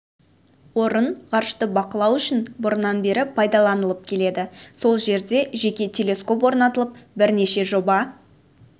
орын ғарышты бақылау үшін бұрыннан бері пайдаланылып келеді сол жерде жеке телескоп орнатылып бірнеше жоба